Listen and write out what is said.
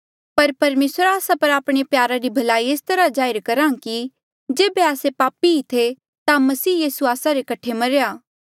पर परमेसर आस्सा पर आपणे प्यारा री भलाई एस तरहा जाहिर करहा कि जेबे आस्से पापी ही थे ता मसीह यीसू आस्सा रे कठे मरेया